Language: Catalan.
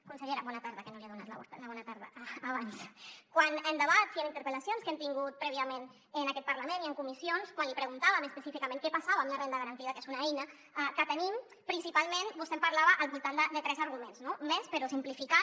consellera bona tarda que no li havia donat la bona tarda abans en debats i en interpel·lacions que hem tingut prèviament en aquest parlament i en comissions quan li preguntàvem específicament què passava amb la renda garantida que és una eina que tenim principalment vostè ens en parlava al voltant de tres arguments no més però simplificant